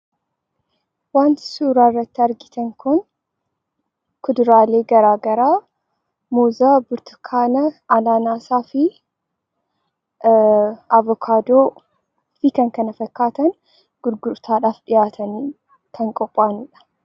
Wanti suuraa irratti argitan kun, kuduraalee garaagaraa: muuza, burtukaana, anaanaasaa fi abokaadoo fi kan kana fakkaatan gurgurtaadhaaf dhiyaatanii kan qophaa'anii dha.